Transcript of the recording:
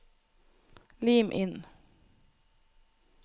Lim inn